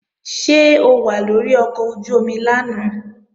Ṣé o wà lórí ọkọ̀ ojú-omi lánàá?